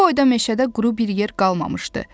Bu boyda meşədə quru bir yer qalmamışdı.